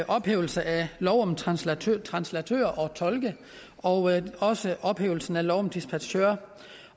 ophævelsen af lov om translatører translatører og tolke og også ophævelsen af lov om dispachører